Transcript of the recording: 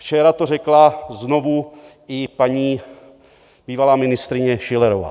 Včera to řekla znovu i paní bývalá ministryně Schillerová.